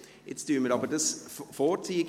Jetzt ziehen wir das aber vor.